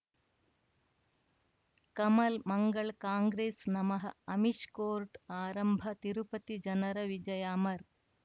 ಕಮಲ್ ಮಂಗಳ್ ಕಾಂಗ್ರೆಸ್ ನಮಃ ಅಮಿಷ್ ಕೋರ್ಟ್ ಆರಂಭ ತಿರುಪತಿ ಜನರ ವಿಜಯ ಅಮರ್